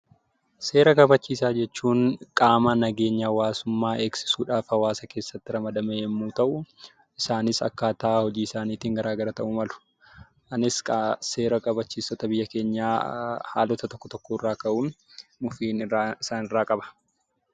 Seera kabachiisaa jechuun qaama nageenyaa hawaasummaa eegsisuudhaaf hawaasa keessatti ramadame yoo ta'u, isaanis akkaataa hojii isaaniitiin garaagara ta'uu malu. Anis egaa seera kabachiiftota biyya keenyaa haalota tokko tokkorraa ka'uun muffiin isaanirraa qaba.